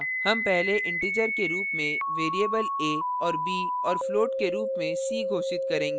हम पहले इंटीजर के रूप में variables a और b और float के रूप में c घोषित करेंगे